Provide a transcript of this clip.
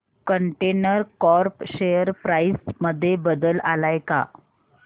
container corp share price मध्ये बदल आलाय का